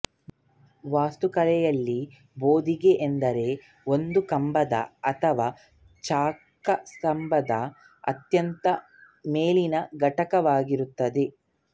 ವಾಸ್ತುಕಲೆಯಲ್ಲಿ ಬೋದಿಗೆ ಎಂದರೆ ಒಂದು ಕಂಬದ ಅಥವಾ ಚೌಕಸ್ತಂಭದ ಅತ್ಯಂತ ಮೇಲಿನ ಘಟಕವಾಗಿರುತ್ತದೆ